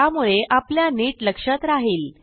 त्यामुळे आपल्या नीट लक्षात राहिल